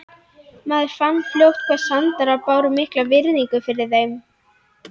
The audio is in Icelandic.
Maður fann fljótt hvað Sandarar báru mikla virðingu fyrir þeim.